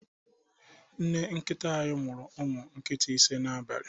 Nne nkita anyị mụru umụ nkịta ise n'abalị.